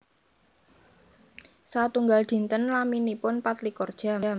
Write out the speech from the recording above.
Satunggal dinten laminipun pat likur jam